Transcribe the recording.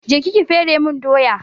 Je ki ki fere mun doya!